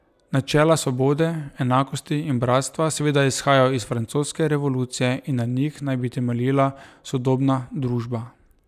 Načela svobode, enakosti in bratstva seveda izhajajo iz francoske revolucije in na njih naj bi temeljila sodobna družba.